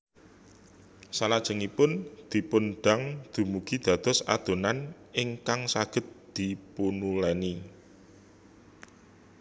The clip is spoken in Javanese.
Salajengipun dipun dang dumugi dados adonan ingkag saged dipunuleni